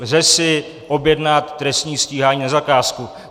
Lze si objednat trestní stíhání na zakázku.